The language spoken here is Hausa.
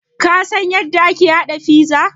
Ka san yadda ake haɗa pizza?